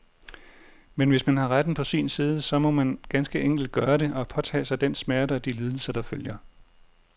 Men hvis man har retten på sin side, så må man ganske enkelt gøre det, og påtage sig den smerte og de lidelser, der følger.